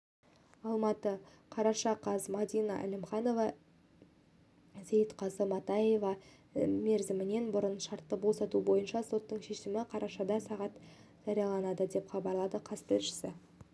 алматы қараша қаз мадина әлімханова іейітқазы матаевты мерзімінен бұрын шартты босату бойынша соттың шешімі қарашада сағат жарияланады деп хабарлады қаз тілшісі